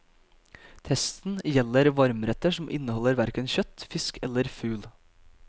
Testen gjelder varmretter som inneholder hverken kjøtt, fisk eller fugl.